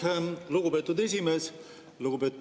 Aitäh, lugupeetud esimees!